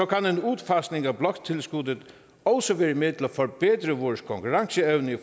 kan en udfasning af bloktilskuddet også være med at forbedre vores konkurrenceevne i